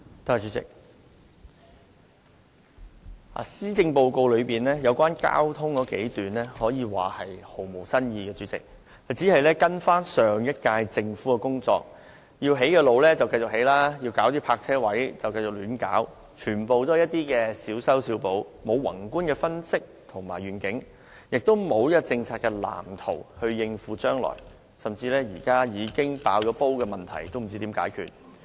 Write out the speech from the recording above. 主席，施政報告有關交通的數段內容，可說毫無新意，只是跟隨上屆政府的工作，原定要興建道路，今屆政府便繼續興建，原定要設立泊車位，也便繼續胡亂設立，全皆是小修小補，缺乏宏觀分析和願景，也缺乏政策藍圖以應付將來，就連現在已呈現眼前的問題，今屆政府也不知道怎樣解決。